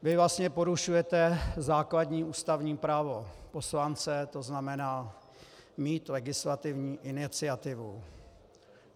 Vy vlastně porušujete základní ústavní právo poslance, to znamená mít legislativní iniciativu.